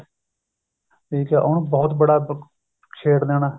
ਠੀਕ ਏ ਉਹਨੂੰ ਬਹੁਤ ਬੜਾ ਛੇੜ ਦੇਣਾ